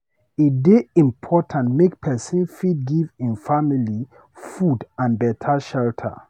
E dey important make pesin fit give im family food and beta shelter.